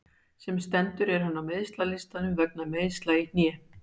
Sem stendur er hann á meiðslalistanum vegna meiðsla í hné.